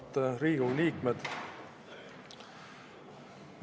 Auväärt Riigikogu liikmed!